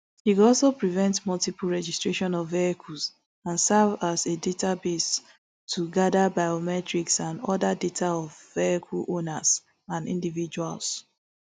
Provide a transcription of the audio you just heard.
e go also prevent multiple registration of vehicles and serve as a database to gada biometric and oda data of vehicle owners and individuals